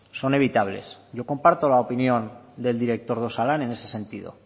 son evitables yo comparto la opinión del director de osalan en ese sentido